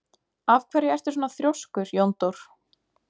Af hverju ertu svona þrjóskur, Jóndór?